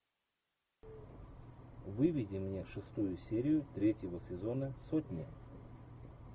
выведи мне шестую серию третьего сезона сотни